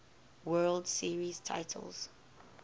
world series titles